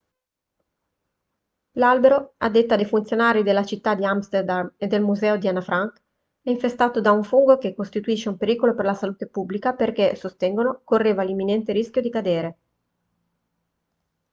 l'albero a detta dei funzionari della città di amsterdam e del museo di anna frank è infestato da un fungo e costituisce un pericolo per la salute pubblica perché sostengono correva l'imminente rischio di cadere